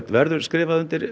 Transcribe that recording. verður skrifað undir